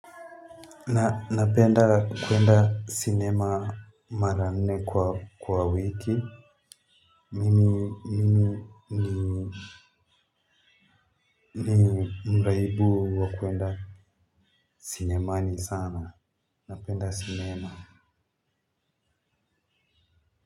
Na napenda kwenda cinema mara nne kwa wiki mimi ni ni mraibu wa kwenda sinemani sana napenda cinema.